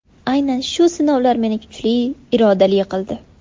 Aynan shu sinovlar meni kuchli, irodali qildi.